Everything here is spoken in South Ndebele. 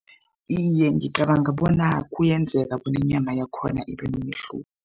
Iye, ngicabanga bona kuyenzeka bona inyama yakhona ibe nomehluko.